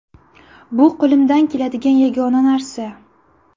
Bu qo‘limdan keladigan yagona narsa.